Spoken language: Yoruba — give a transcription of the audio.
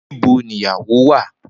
Nibo ni iyawo wa?